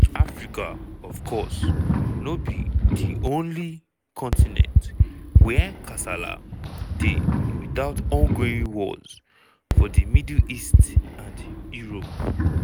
africa of course no be di only continent wia kasala dey wit ongoing wars for di middle east and europe.